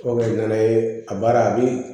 O bɛ kɛ n'a ye a baara a bɛ